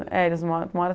É, eles moram, mora